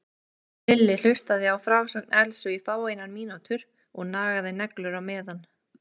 Lilli hlustaði á frásögn Elsu í fáeinar mínútur og nagaði neglur á meðan.